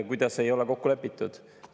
Kuidas ei ole kokku lepitud?